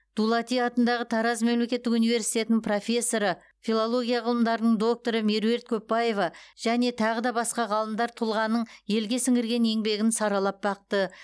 дулати атындағы тараз мемлекеттік университетінің профессоры филология ғылымдарының докторы меруерт көпбаева және тағы да басқа ғалымдар тұлғаның елге сіңірген еңбегін саралап бақты